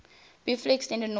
briefly extended north